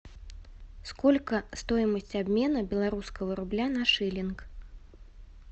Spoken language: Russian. сколько стоимость обмена белорусского рубля на шиллинг